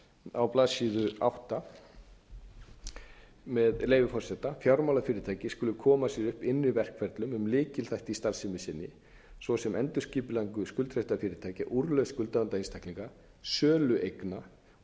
á blaðsíðu átta með leyfi forseta fjármálafyrirtæki skulu koma sér upp innri verkferlum um lykilþætti í starfsemi sinni svo sem endurskipulagningu skuldsettra fyrirtækja úrlausn skuldavanda einstaklinga sölu eigna og